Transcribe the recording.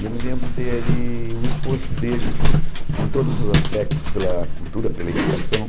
E eu me lembro dele o esforço dele em todos os aspectos, pela cultura, pela educação.